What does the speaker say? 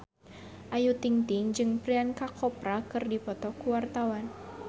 Ayu Ting-ting jeung Priyanka Chopra keur dipoto ku wartawan